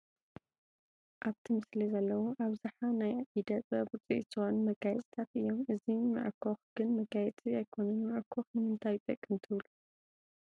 ኣብቲ ምስሊ ዘለዉ ኣብዝሓ ናይ ኢደ ጥበብ ውፅኢት ዝኾኑ መጋየፅታት እዮም፡፡ እኒ መዐኾኽ ግን መጋየፂ ኣይኮኑን፡፡ መዐኾኽ ንምንታይ ይጠቅም ትብሉ?